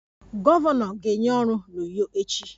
Gọvanọ ga-enye ọrụ a n'Uyo echi